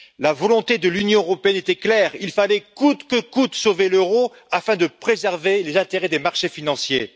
La volonté de l'Union européenne était claire il fallait coûte que coûte sauver l'euro afin de préserver les intérêts des marchés financiers.